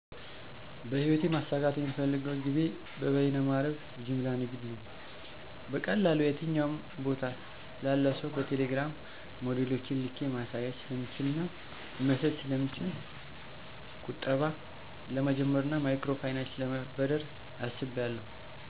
- በህይወቴ ማሳካት የምፈልገው ግቤ በበየነ መረብ ጅምላ ንግድ ነው። - በቀላሉ የትኛውም ቦታ ላለ ሰው በቴሌግራም ሞዴሎችን ልኬ ማሳየት ስለምችልና መሸጥ ስለምችል። - ቁጠባ ለመጀመርና ማይክሮ ፋይናንስ ለመበደር አስቢያለሁ።